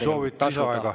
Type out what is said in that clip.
Soovid lisaaega?